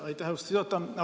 Aitäh, austatud juhataja!